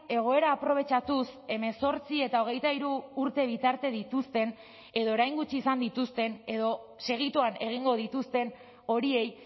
egoera aprobetxatuz hemezortzi eta hogeita hiru urte bitarte dituzten edo orain gutxi izan dituzten edo segituan egingo dituzten horiei